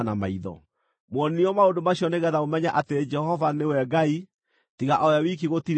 Muonirio maũndũ macio nĩgeetha mũmenye atĩ Jehova nĩwe Ngai; tiga o we wiki gũtirĩ ũngĩ.